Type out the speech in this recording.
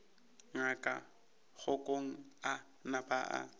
ngaka kgokong a napa a